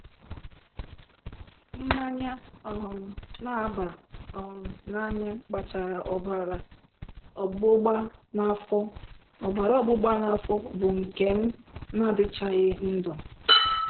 Mmanya um na-aba um n'anya kpatara ọbara ọgbụgba n'afọ, ọbara ọgbụgba n'afọ, bụ́ nke m na-adịchaghị ndụ.